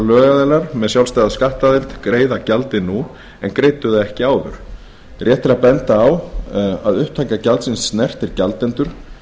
lögaðilar með sjálfstæða skattaðild greiða gjaldið nú en greiddu það ekki áður rétt er að benda á að upptaka gjaldsins snertir gjaldendur